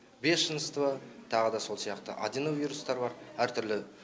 бешенства тағы да сол сияқты адено вирустар бар әр түрлі